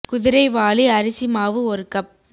குதிரைவாலி அரிசி மாவு ஒரு கப்